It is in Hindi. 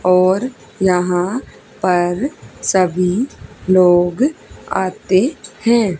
और यहां पर सभी लोग आते हैं।